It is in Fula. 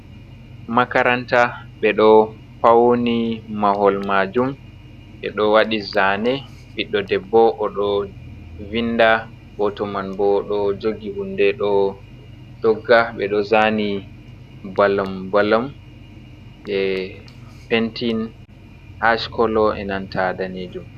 Makaranta ɓeɗo fauni mahol majum, ɓeɗo waɗi zane ɓiɗɗo debbo oɗo vinda, goto man bo ɗo jogi hunde ɗo dogga, ɓeɗo zani balam-balam e' pentin ash kolo e'nanta danejum.